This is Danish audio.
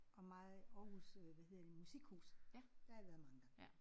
Og meget Aarhus øh hvad hedder det musikhus. Der har været mange gange